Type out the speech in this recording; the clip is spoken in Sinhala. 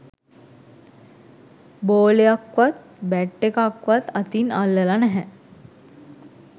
බෝලයක්වත් බැට් එකක්වත් අතින් අල්ලලා නැහැ.